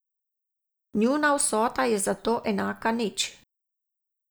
Njuna vsota je zato enaka nič.